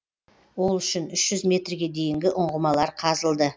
ол үшін үш жүз метрге дейінгі ұңғымалар қазылды